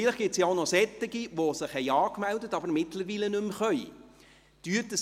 Vielleicht gibt es auch noch solche, die sich angemeldet haben, aber mittlerweile nicht mehr teilnehmen können.